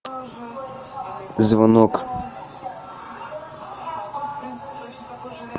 звонок